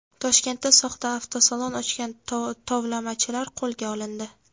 Toshkentda soxta avtosalon ochgan tovlamachilar qo‘lga olindi.